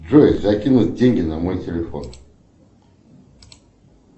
джой закинуть деньги на мой телефон